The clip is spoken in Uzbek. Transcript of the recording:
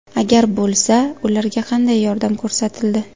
Agar bo‘lsa, ularga qanday yordam ko‘rsatildi?